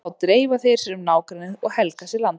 Þá dreifa þeir sér um nágrennið og helga sér landsvæði.